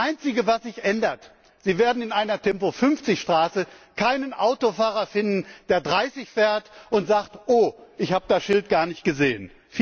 Das einzige, was sich ändert Sie werden in einer Tempo 50 Straße keinen Autofahrer finden, der 30 fährt und sagt Oh, ich hab das Schild gar nicht gesehen!